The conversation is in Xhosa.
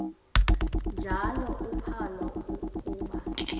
njalo uphalo akuba